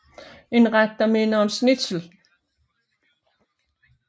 En ret der minder om schnitzel